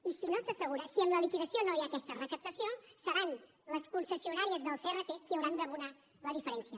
i si no s’assegura si amb la liquidació no hi ha aquesta recaptació seran les concessionàries del crt qui hauran d’abonar la diferència